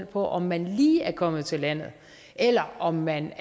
på om man lige er kommet til landet eller om man